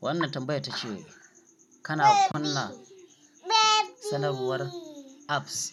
Wannan tambayar ta ce kana kunna sanarwar apps?